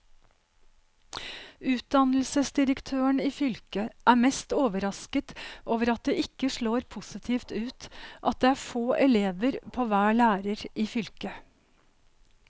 Utdannelsesdirektøren i fylket er mest overrasket over at det ikke slår positivt ut at det er få elever på hver lærer i fylket.